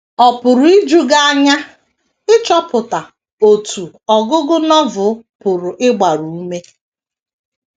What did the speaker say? Ọ pụrụ iju gị anya ịchọpụta otú ọgụgụ Novel pụrụ ịgbaru ume.